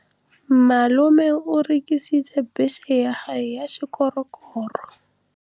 Malome o rekisitse bese ya gagwe ya sekgorokgoro.